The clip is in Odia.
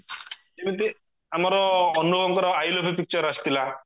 ଯିମିତି ଆମର ଅନୁଭବଙ୍କର i love you picture ଆସିଲଥିଲା